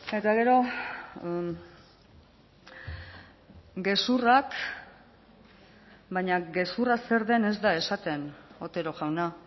eta gero gezurrak baina gezurra zer den ez da esaten otero jauna